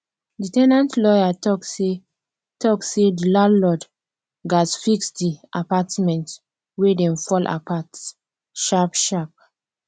di ten ant lawyer talk say talk say di landlord gatz fix di apartment wey dey fall apart sharp sharp